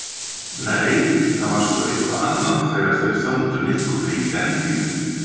Nei, það var sko eitthvað annað þegar þeir þöndu nikkuna í dentíð.